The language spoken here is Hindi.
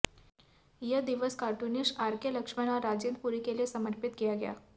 यह दिवस कार्टुनिस्ट आरके लक्ष्मण और राजेंद्र पुरी के लिए समर्पित किया गया